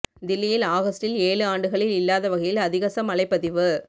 தில்லியில் ஆகஸ்டில் ஏழு ஆண்டுகளில் இல்லாத வகையில் அதிகச மழைப் பதிவு